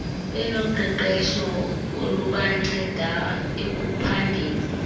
benoqeqesho olubanceda ekuphandeni